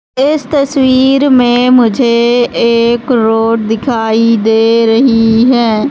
इस तस्वीर में मुझे एक रोड दिखाई दे रही है।